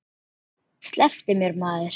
Slepptu mér maður.